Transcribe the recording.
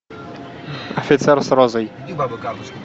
офицер с розой